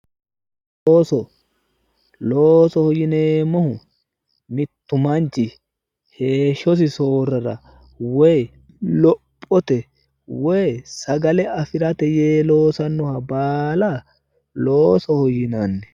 Looso, loosoho yineemmohu mittu manchi heeshshosi soorrara woy lophote woy sagale afi'rate yee loosannoha baala loosoho yinanni.